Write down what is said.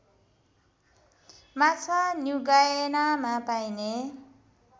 माछा न्युगायनामा पाइने